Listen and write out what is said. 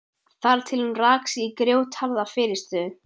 Þar til hún rak sig í grjótharða fyrirstöðu.